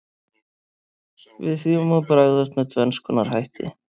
Við því má bregðast með tvenns konar hætti.